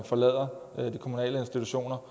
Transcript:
forlader de kommunale institutioner